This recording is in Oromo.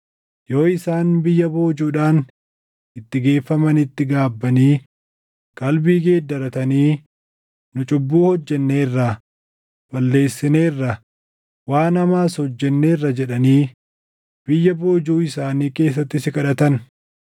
yoo isaan biyya boojuudhaan itti geeffamanitti gaabbanii qalbii geeddaratanii, ‘Nu cubbuu hojjenneerra; balleessineerra; waan hamaas hojjenneerra’ jedhanii biyya boojuu isaanii keessatti si kadhatan,